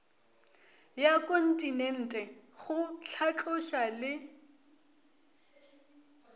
ya kontinente go hlatloša le